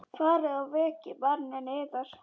Farið og vekið manninn yðar.